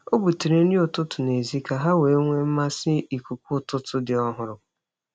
Ọ butere nri ụtụtụ n’èzí ka ha wee nwee mmasị n’ikuku ụtụtụ dị ọhụrụ.